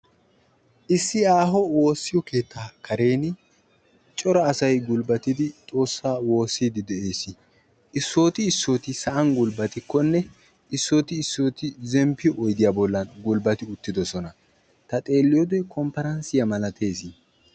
Issi aaho woossiyo keetta karen cora asatti gulbbattiddi xoosa woososonna. Issitti issitto sa'an haratti qassi oyddiyan gulbbattidosonna.